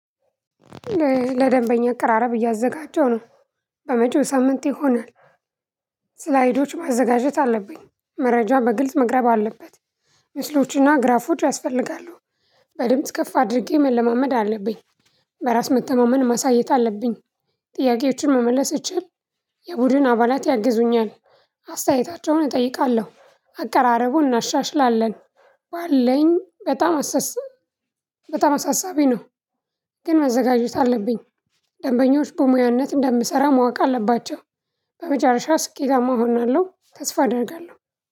ለደንበኛ አቀራረብ እያዘጋጀው ነው። በመጪው ሳምንት ይሆናል። እስላይዶች ማዘጋጀት አለብኝ መረጃ በግልጽ መቅረብ አለበት። ምስሎችና ግራፎች ያስፈልጋሉ። በድምጽ ከፍ አድርጌ መለማመድ አለብኝ። በራስ መተማመን ማሳየት አለብኝ። ጥያቄዎችን መመለስ እችል። የቡድን አባላት ያግዙኛል። አስተያየታቸውን እጠይቃለሁ አቀራረቡን እናሻሽላለን። ባለኝ በጣም አሳሳቢ ነው። ግን መዘጋጀት አለብኝ። ደንበኞች በሙያነት እንደምሰራ ማወቅ አለባቸው። በመጨረሻ ስኬታማ እሆናለሁ ተስፋ አደርጋለሁ።